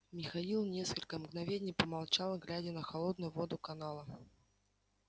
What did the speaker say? михаил несколько мгновений помолчал глядя на холодную воду канала